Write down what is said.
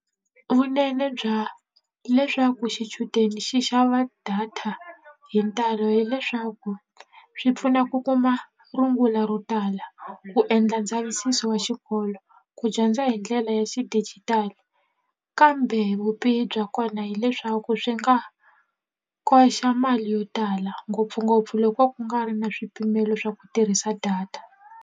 Vunene bya leswaku xichudeni xi xava data hi ntalo hileswaku swi pfuna ku kuma rungula ro tala ku endla ndzavisiso wa xikolo ku dyondza hi ndlela ya xidijitali kambe vubihi bya kona hileswaku swi nga koxa mali yo tala ngopfungopfu loko ku nga ri na swipimelo swa ku tirhisa data.